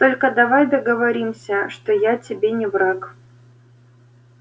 только давай договоримся что я тебе не враг